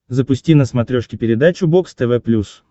запусти на смотрешке передачу бокс тв плюс